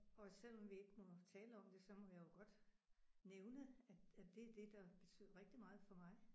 Og selvom vi ikke må tale om det så må jeg jo godt nævne at at det er det der betyder rigtig meget for mig